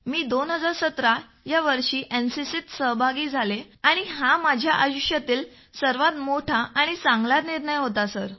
मी 2017 ह्या वर्षी एनसीसीत सहभागी झालो आणि हा माझ्या आयुष्यातला सर्वात मोठा आणि चांगला निर्णय होता सर